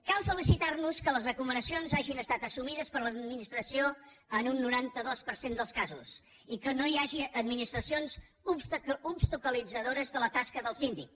cal felicitar nos que les recomanacions hagin estat assumides per l’administració en un noranta dos per cent dels casos i que no hi hagi administracions obstaculitzadores de la tasca del síndic